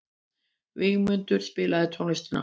Vígmundur, spilaðu tónlist.